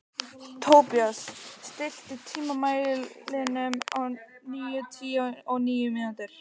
Tobías, stilltu tímamælinn á níutíu og níu mínútur.